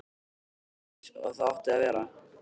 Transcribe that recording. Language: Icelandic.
Allt var eins og það átti að vera.